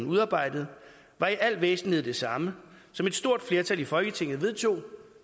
udarbejdede var i al væsentlighed det samme som et stort flertal i folketinget vedtog